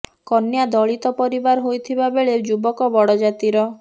କନ୍ୟା ଦଳିତ ପରିବାର ହୋଇଥିବା ବେଳେ ଯୁବକ ବଡ଼ ଜାତିର